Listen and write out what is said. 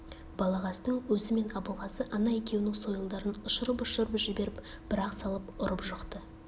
балағаздың өзі мен абылғазы ана екеуінің сойылдарын ұшырып-ұшырып жіберіп бір-ақ салып ұрып жықты